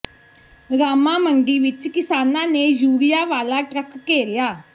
ਰਾਮਾਂ ਮੰਡੀ ਵਿੱਚ ਕਿਸਾਨਾਂ ਨੇ ਯੂਰੀਆ ਵਾਲਾ ਟਰੱਕ ਘੇਰਿਆ